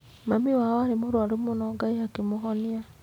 Mami wao arĩ mũrũaru mũno Ngai akĩmũhonia.